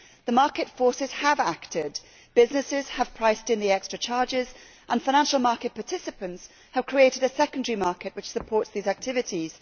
The market forces have acted businesses have priced in the extra charges and financial market participants have created a secondary market which supports these activities.